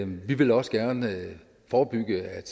vi vil også gerne forebygge at